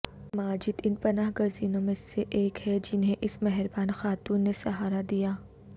ماجد ان پناہگزینوں میں سے ایک ہیں جنھیں اس مہربان خاتون نے سہارا دیا